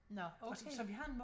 Nåh okay